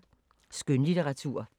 Skønlitteratur